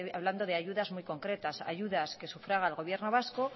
hablando de ayudas muy concretas ayudas que sufraga el gobierno vasco